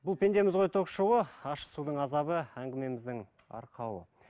бұл пендеміз ғой ток шоуы ащы судың азабы әңгімеміздің арқауы